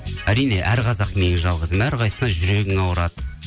әрине әр қазақ менің жалғызым әр қайсысына жүрегің ауырады